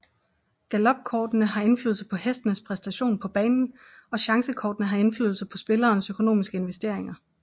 Galopkortene har indflydelse på hestenes præstation på banen og chancekortene har indflydelse på spillerens økonomiske investeringer